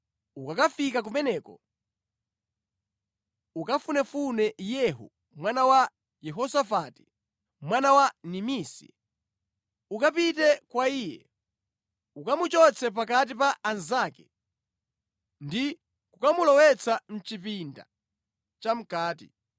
Ukakafika kumeneko, ukafunefune Yehu mwana wa Yehosafati, mwana wa Nimisi. Ukapite kwa iye, ukamuchotse pakati pa anzake ndi kukamulowetsa mʼchipinda chamʼkati.